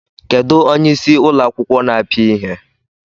Kedụ onyeisí ụlọ akwụkwọ na-apịa ihe?